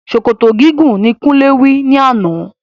Sòkòtò gígùn ni Kúnlé will ní àná.